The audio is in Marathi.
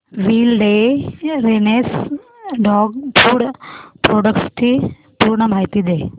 विलडेरनेस डॉग फूड प्रोडक्टस ची पूर्ण माहिती दे